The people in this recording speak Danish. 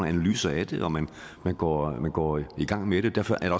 analyser af det når man går man går i gang med det derfor er